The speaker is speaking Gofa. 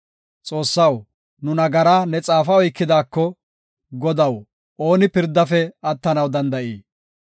Xoossaw, nu nagaraa ne xaafa oykidaako, Godaw, ooni pirdafe attanaw danda7ii?